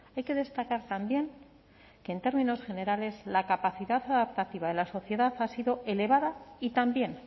hay que destacar también que en términos generales la capacidad adaptativa de la sociedad ha sido elevada y también